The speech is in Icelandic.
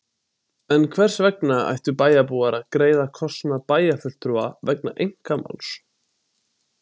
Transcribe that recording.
En hvers vegna ættu bæjarbúar að greiða kostnað bæjarfulltrúa vegna einkamáls?